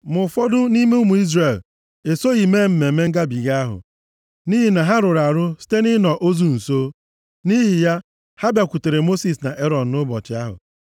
Ma ụfọdụ nʼime ụmụ Izrel esoghị mee Mmemme Ngabiga ahụ nʼihi na ha rụrụ arụ site nʼịnọ ozu nso. Nʼihi ya, ha bịakwutere Mosis na Erọn nʼụbọchị ahụ,